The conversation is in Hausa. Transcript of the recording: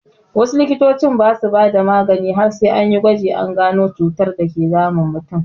Wasu likitoci ba su bada magani har sai anyi gwaji an gano cutar dake damun mutum.